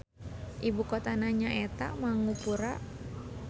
Ibu kotana nyaeta Mangupura.